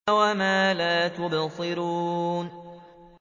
وَمَا لَا تُبْصِرُونَ